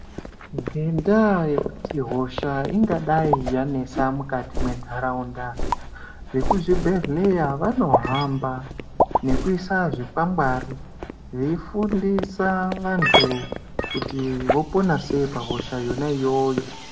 Ngendaa yekuti hosha ingadai yanetsa mukati mwentaraunda, vekuzvibhedhlera vanohamba nekuisa zvikwangwari veifundisa vantu kuti vopona sei pahosha yona iyoyo.